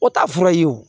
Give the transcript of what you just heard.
O t'a fura ye wo